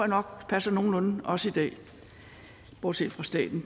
nok passer nogenlunde også i dag bortset fra staten